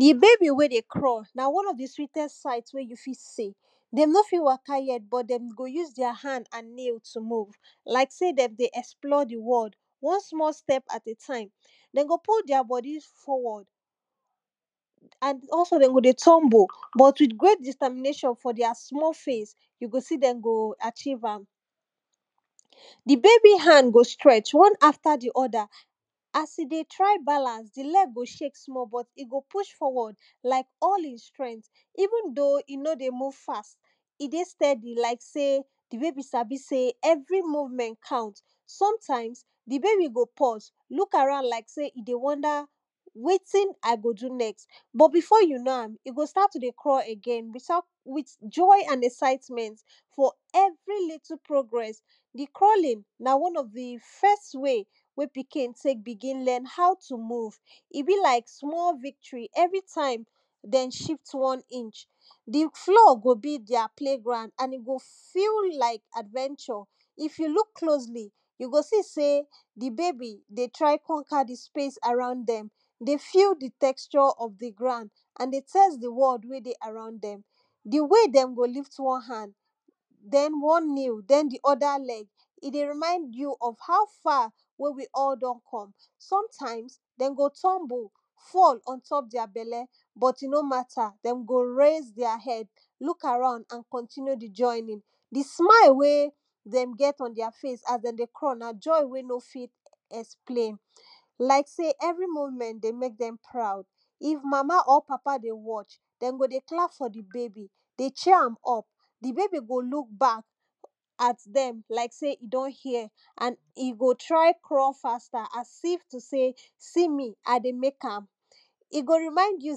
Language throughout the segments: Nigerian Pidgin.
di baby wey dey crawl na one of di sweatest sight wey you fit see, dem no fit waka yet but dem go use their hand and knee to move like sey dem dey explore di world one small stepat time. dem go put their bodi forward and also de go dey tumble but with great determination for their small face, you g see dem g achieve am. di baby hand go dey strech you go see am one after di other as e dey try balance, e leg go shake small e go push small even though e no dey mov fast, e dey steady like sey di bab sabi sey evri movement count. sometimes, di baby go pause, loo around like sey e dey wonder wetin i go do next but before you know, e go start to dey crawl with joy and excitement for everi little progress. di cerawling na one of di first way wey pikin learn how to move evritime, ebe like small victory everi time dem shift oe inch. di floor go be ther play ground and e go feel like adventure. if you look closely, you go see ey di babay dey try pamper di space around dem. de feel di texture of di ground an de fear di world wey dey around dem. di way dem go lift one hand den one knee den di other hand, e go remind us how far we don come sometimes den go tumble fall ontop their belle but e no mata den go raise their head, loo around and continue their journey. di smile wey, dem get for their face as dem dey come na joy ey dem no fit explain. like sey everi moment dey mek dem proud. if mama or papa dey watch, em go dy clap for di baby. de cheer am up, di baby go look back like say e don hear and e go t ry crawl faster as if to sey see me i dey mek am e go remind you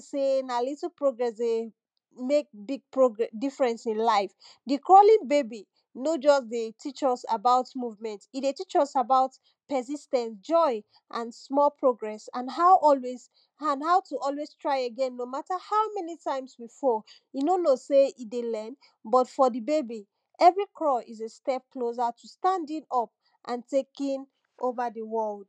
sey na little progress mek difference in life di crawling baby no just dey teach us about movement in life, e dey teach us about persis ten ce, joy and small progress and to also try again no mata how many times we fall, you try again you no k ow sey we dey earn, but fir di baby, everi crawl is a step closr to standing up and taking over di world.